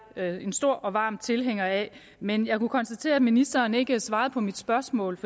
er jeg en stor og varm tilhænger af men jeg kunne konstatere at ministeren ikke svarede på mit spørgsmål